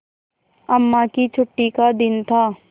अम्मा की छुट्टी का दिन था